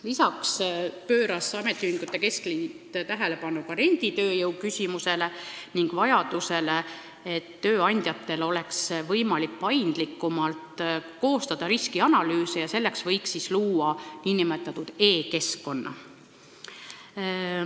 Lisaks pööras ametiühingute keskliit tähelepanu renditööjõu küsimusele ning vajadusele, et tööandjatel oleks võimalik paindlikumalt koostada riskianalüüse ja selleks võiks luua nn e-keskkonna.